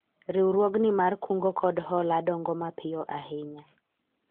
riwruogni mar kungo kod hola dongo mapiyo ahinya